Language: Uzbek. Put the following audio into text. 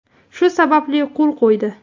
Shu sababli, qo‘l qo‘ydi”.